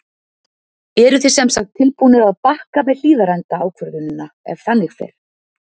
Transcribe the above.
Eruð þið semsagt tilbúnir að bakka með Hlíðarenda ákvörðunina ef þannig fer?